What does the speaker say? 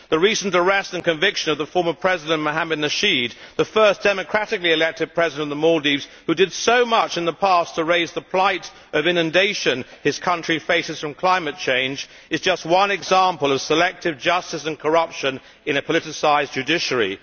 The recent arrest and conviction of the former President Mohamed Nasheed, the first democratically elected President of the Maldives, who did so much in the past to raise the plight of inundation his country faces from climate change, is just one example of selective justice and corruption in a politicised judiciary.